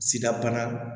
Sida bana